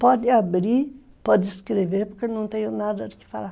Pode abrir, pode escrever, porque eu não tenho nada do que falar.